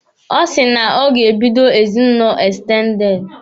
Ọ sị na o ga-ebido ezinụlọ ekstendede.